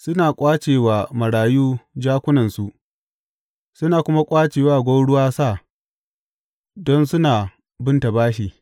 Suna ƙwace wa marayu jakunansu suna kuma ƙwace wa gwauruwa sa don suna binta bashi.